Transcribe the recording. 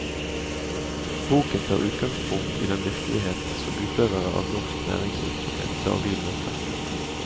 Boken tar utgangspunkt i den virkelighet som utøvere av norsk næringsvirksomhet daglig møter.